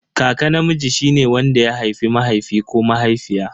Kaka namiji shine wanda ya haifi mahaifi ko mahaifiya.